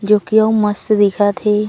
जो कि उ मस्त दिखत हे।